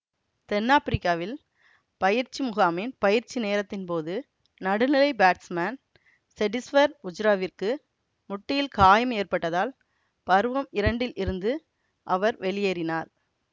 தென்னாப்பிரிக்காவில் பயிற்சி முகாமின் பயிற்சி நேரத்தின் போது நடுநிலை பேட்ஸ்மேன் செடிஷ்வர் புஜ்ராவிற்கு முட்டியில் காயம் ஏற்பட்டதால் பருவம் இரண்டில் இருந்து அவர் வெளியேறினார்